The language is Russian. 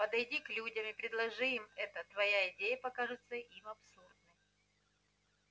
подойди к людям и предложи им это твоя идея покажется им абсурдной